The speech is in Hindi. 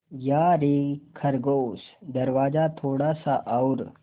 यारे खरगोश दरवाज़ा थोड़ा सा और